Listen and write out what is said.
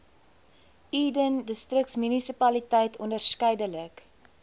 eden distriksmunisipaliteit onderskeidelik